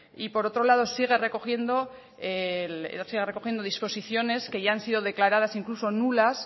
y por otro lado sigue recogiendo disposiciones que ya han sido declaradas incluso nulas